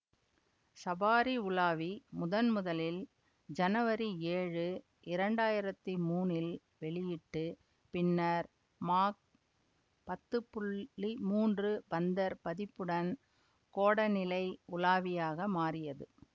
Safari உலாவி முதன் முதலில் ஜனவரி ஏழு இரண்டு ஆயிரத்தி மூனில் வெளியிட்டு பின்னர் மாக் பத்து மூன்று பந்தர் பதிப்புடன் கோட நிலை உலாவியாக மாறியது